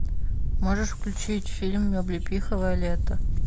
можешь включить фильм облепиховое лето